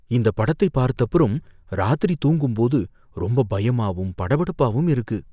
இந்த படத்தை பார்த்தப்புறம், ராத்திரி தூங்கும்போது ரொம்ப பயமாவும் படபடப்பாவும் இருக்கு.